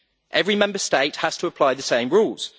Every Member State has to apply the same rules.